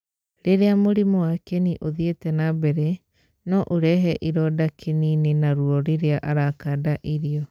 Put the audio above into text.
Rĩrĩa mũrimũ wa kĩni ũthiĩte na mbere, no ũrehe ironda kĩni-inĩ na ruo rĩrĩa arakanda irio.